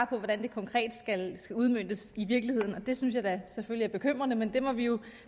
på hvordan det konkret skal udmøntes i virkeligheden det synes jeg da selvfølgelig er bekymrende men det må vi jo